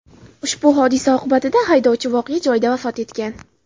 Ushbu hodisa oqibatida haydovchi voqea joyida vafot etgan.